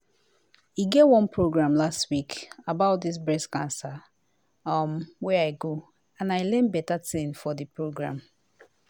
when i fess sabi say breast cancer fit hide like somtin wey small inside bress i com no say oda pipo too dey face am.